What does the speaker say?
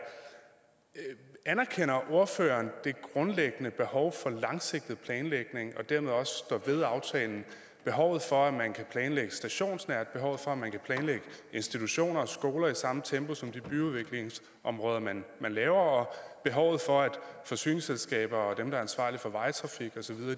anerkender ordføreren det grundlæggende behov for langsigtet planlægning og dermed også at stå ved aftalen behovet for at man kan planlægge stationsnært behovet for at man kan planlægge institutioner og skoler i samme tempo som de byudviklingsområder man laver og behovet for at forsyningsselskaber og dem der er ansvarlige for vejtrafik osv